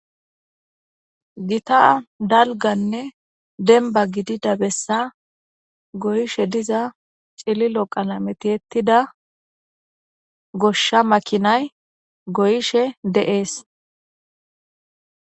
Gita daliganne denniba gidida bessa goyishshe diza cililo qalame tiyettidda goshsha makinayi goyishshe de'ees.